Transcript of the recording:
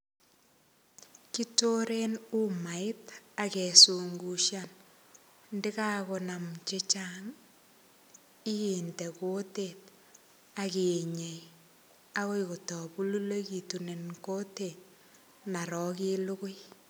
Kitoren umait ak kesungushan ndiga konam che chang inde kutit ak inyei agoi kotokulegitun en kutit naro ilugui.